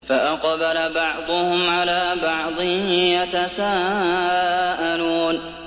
فَأَقْبَلَ بَعْضُهُمْ عَلَىٰ بَعْضٍ يَتَسَاءَلُونَ